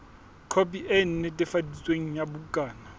khopi e netefaditsweng ya bukana